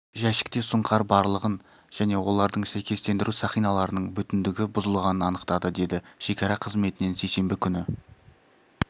жәшікте сұңқар барлығын және олардың сәйкестендіру сақиналарының бүтіндігі бұзылғанын анықтады деді шекара қызметінен сейсенбі күні